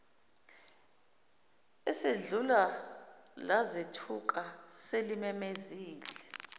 ezedlula lazethuka selimemezile